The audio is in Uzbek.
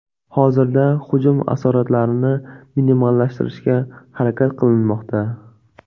Hozirda hujum asoratlarini minimallashtirishga harakat qilinmoqda.